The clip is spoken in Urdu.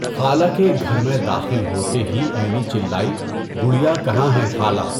خالہ کے گھر میں داخل ہوتے ہی عینی چلائی، گڑیا کہاں ہے، خالہ؟